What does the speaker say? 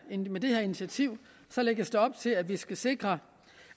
initiativ lægges op til at vi skal sikre